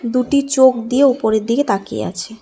দুটি চোখ দিয়ে উপরের দিকে তাকিয়ে আছে।